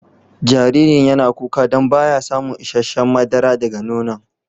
Jaririn yana kuka dan ba ya samun isheshe'n madara daga nono'n.